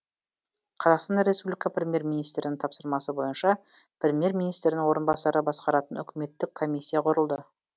қр премьер министрінің тапсырмасы бойынша премьер министрдің орынбасары басқаратын үкіметтік комиссия құрылды